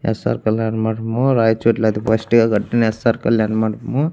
S R కళ్యాణమండపము రాయచోటి లో అయితే ఫస్ట్ గా కట్టిన ఎస్_ఆర్ కళ్యాణమండపము.